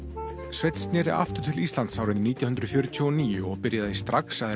sveinn sneri aftur til Íslands árið nítján hundruð fjörutíu og níu og byrjaði strax að